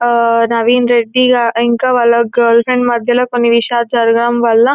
ఆ నవీన్ రెడ్డి గా ఇంకా వాళ్ళ గర్ల్ ఫ్రెండ్ మధ్యలో కొన్ని విషయాలు జరగడం వల్ల--